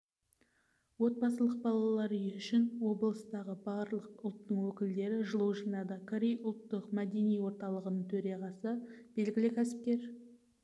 отбасылық балалар үйі үшін облыстағы барлық ұлттың өкілдері жылу жинады корей ұлттық-мәдени орталығының төрағасы белгілі кәсіпкер